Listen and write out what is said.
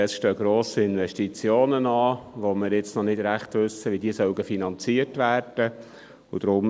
Es stehen grosse Investitionen an, von denen wir noch nicht recht wissen, wie sie finanziert werden sollen.